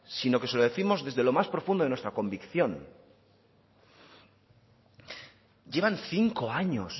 sino que se lo décimos desde lo más profundo de nuestra convicción llevan cinco años